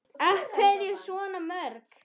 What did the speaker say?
Af hverju svona mörg?